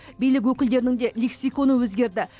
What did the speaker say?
билік өкілдерінің де лексиконы өзгерді